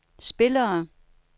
spillere